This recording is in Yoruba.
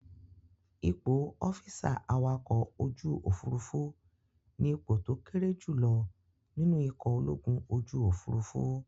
Ipò ọ́físà awakọ̀-ojúòfúrufú ní ipò tó kéré jù lọ nínú ikọ̀ ológun ojúòfurufú